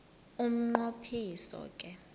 umnqo phiso ke